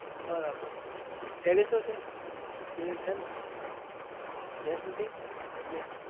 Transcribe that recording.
બરાબર કે gents નથી